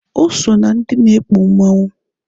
O so na ndị na-ekpu mmanwụ.